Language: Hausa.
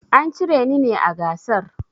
An cire ni ne a gasar.